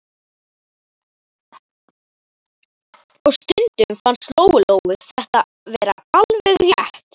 Og stundum fannst Lóu Lóu þetta vera alveg rétt.